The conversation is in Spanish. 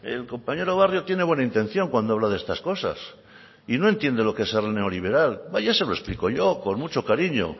el compañero barrio tiene buena intención cuando habla de estas cosas y no entiende ser neoliberal ya se lo explico yo con mucho cariño